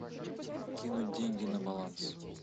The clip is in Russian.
кинуть деньги на баланс